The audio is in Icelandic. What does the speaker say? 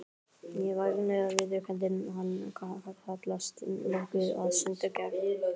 Ég hef ævinlega viðurkenndi hann, hallast nokkuð að sundurgerð